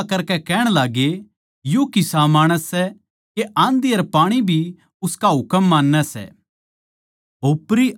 अर वे अचम्भा करकै कहण लाग्ये यो किसा माणस सै के आँधी अर पाणी भी उसका हुकम मान्नैं सै